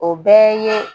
O bɛɛ ye